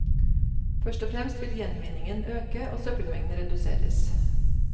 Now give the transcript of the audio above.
Først og fremst vil gjenvinningen øke og søppelmengden reduseres.